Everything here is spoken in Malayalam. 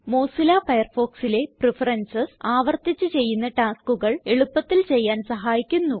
മൊസില്ല Firefoxലെ പ്രഫറൻസസ് ആവർത്തിച്ച് ചെയ്യുന്ന taskകൾ എളുപ്പത്തിൽ ചെയ്യാൻ സഹായിക്കുന്നു